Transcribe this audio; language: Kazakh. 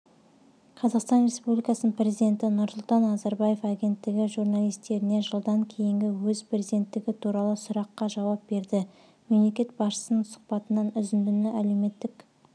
қазақстан республикасының президенті нұрсұлтан назарбаев агенттігі журналистеріне жылдан кейінгі өз президенттігі туралы сұраққа жауап берді мемлекет басшысының сұхбатынан үзіндіні әлеуметтік